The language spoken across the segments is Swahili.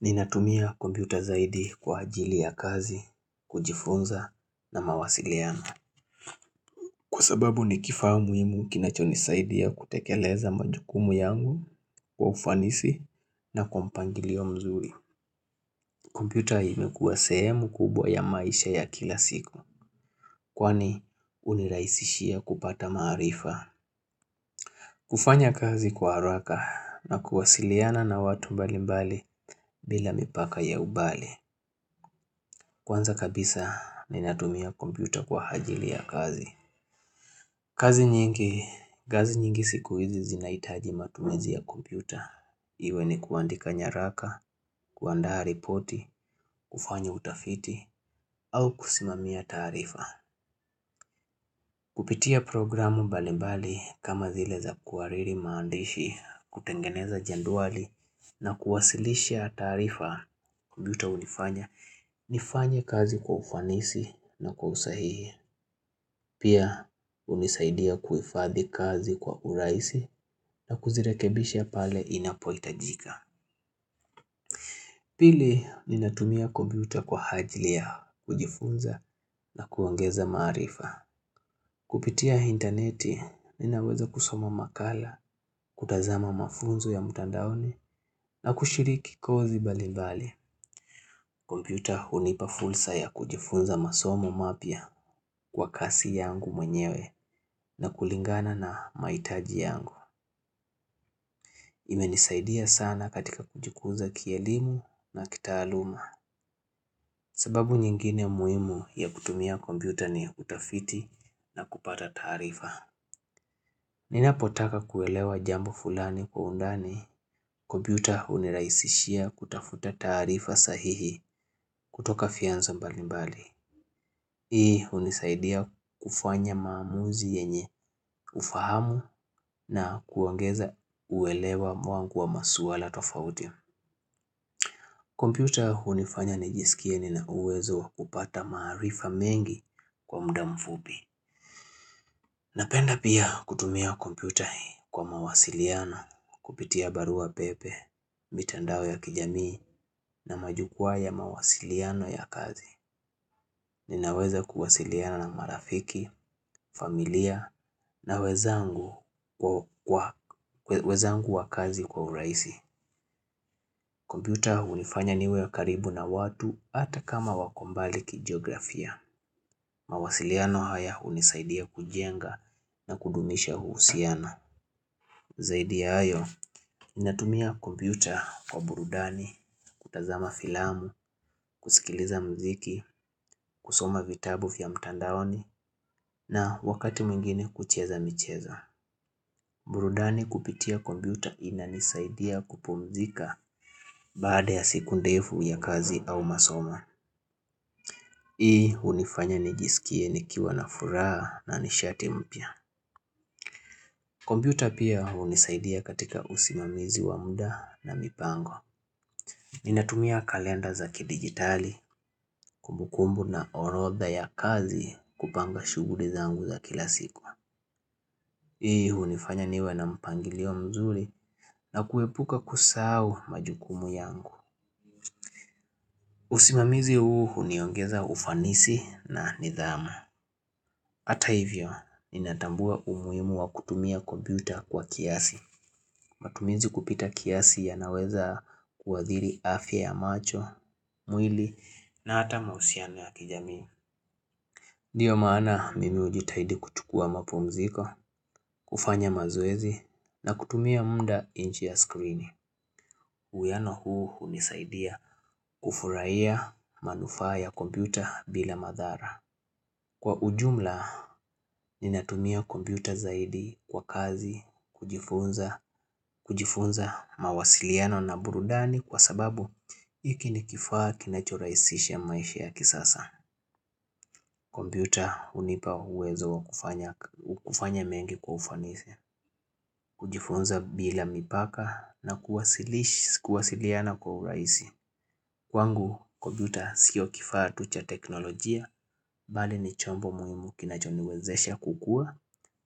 Ninatumia kompyuta zaidi kwa ajili ya kazi, kujifunza na mawasiliano. Kwa sababu ni kifaa muhimu kinachonisaidia kutekeleza majukumu yangu kwa ufanisi na kwa mpangilio mzuri. Kompyuta imekuwa sehemu kubwa ya maisha ya kila siku. Kwani hunirahisishia kupata maarifa, kufanya kazi kwa haraka na kuwasiliana na watu mbalimbali bila mipaka ya ubali. Kwanza kabisa ninatumia kompyuta kwa ajili ya kazi. Kazi nyingi, kazi nyingi siku hizi zinahitaji matumizi ya kompyuta. Iwe ni kuandika nyaraka, kuandaa ripoti, kufanya utafiti, au kusimamia taarifa. Kupitia programu mbalimbali kama zile za kuhariri maandishi, kutengeneza jedwali, na kuwasilisha taarifa kompyuta hunifanya. Nifanye kazi kwa ufanisi na kwa usahihi. Pia hunisaidia kuhifadhi kazi kwa urahisi na kuzirekebisha pale inapohitajika. Pili, ninatumia kompyuta kwa ajli ya kujifunza na kuongeza maarifa. Kupitia interneti, ninaweza kusoma makala, kutazama mafunzo ya mtandaoni na kushiriki kozi mbalimbali. Kompyuta hunipa fursa ya kujifunza masomo mapya kwa kasi yangu mwenyewe na kulingana na mahitaji yangu. Imenisaidia sana katika kujikuza kielimu na kitaaluma. Sababu nyingine muhimu ya kutumia kompyuta ni utafiti na kupata taarifa. Ninapotaka kuelewa jambo fulani kwa undani, kompyuta hunirahisishia kutafuta taarifa sahihi kutoka vyanzo mbalimbali. Hii hunisaidia kufanya maamuzi yenye ufahamu na kuongeza uelewa wangu wa masuala tofauti. Computer hunifanya nijisikie nina uwezo wa kupata maarifa mengi kwa muda mfupi. Napenda pia kutumia computer kwa mawasiliano kupitia barua pepe, mitandao ya kijamii na majukwaa ya mawasiliano ya kazi Ninaweza kuwasiliana na marafiki, familia na wenzangu wa kazi kwa urahisi. Computer hunifanya niwe karibu na watu hata kama wako mbali ki geografia. Mawasiliano haya hunisaidia kujenga na kudumisha uhusiano. Zaidi ya hayo, natumia computer kwa burudani, kutazama filamu, kusikiliza muziki, kusoma vitabu vya mtandaoni na wakati mwingine kucheza michezo. Burudani kupitia kompyuta inanisaidia kupumzika Baada ya siku ndefu ya kazi au masomo Hii hunifanya nijisikie nikiwa na furaha na nishati mpya kompyuta pia hunisaidia katika usimamizi wa muda na mipango Ninatumia kalenda za kidigitali Kumbukumbu na orotha ya kazi kupanga shughuli zangu za kila siku. Hii hunifanya niwe na mpangilio mzuri na kuepuka kusahau majukumu yangu. Usimamizi huu huniongeza ufanisi na nidhamu. Hata hivyo, ninatambua umuhimu wa kutumia kompyuta kwa kiasi. Matumizi kupita kiasi yanaweza kuathiri afya ya macho, mwili na hata mahusiano ya kijamii. Ndio maana mimi hujitahidi kuchukua mapumziko, kufanya mazoezi na kutumia muda nje ya screen. Uwiano huu hunisaidia kufurahia manufaa ya kompyuta bila madhara. Kwa ujumla, ninatumia kompyuta zaidi kwa kazi, kujifunza mawasiliano na burudani kwa sababu hiki ni kifaa kinachorahisisha maisha ya kisasa. Kompyuta hunipa uwezo wa kufanya mengi kwa ufanisi, kujifunza bila mipaka na kuwasiliana kwa urahisi. Kwangu kompyuta sio kifaa tu cha teknolojia, bali ni chombo muhimu kinachoniwezesha kukua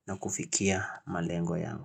na kufikia malengo yangu.